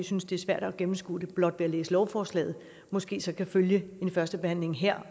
synes det er svært at gennemskue det blot ved at læse lovforslaget måske kan følge første behandling her